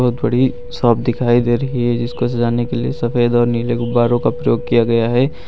बड़ी साफ दिखाई दे रही है जिसको सजाने के लिए सफेद और नील गुब्बारो का प्रयोग किया गया है।